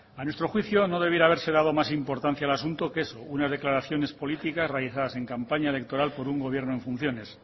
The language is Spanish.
a nuestro juicio no debiera haberse dado más importancia al asunto que es una declaraciones políticas realizadas en campaña electoral por un gobierno en funciones